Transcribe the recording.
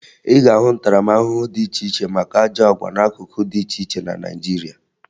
Ị ga-ahụ ntaramahụhụ dị iche iche maka ajọ àgwà n'akụkụ dị iche iche na Naịjirịa